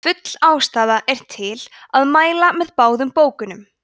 full ástæða er til að mæla með báðum bókunum